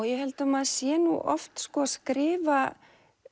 ég held að maður sé nú oft að skrifa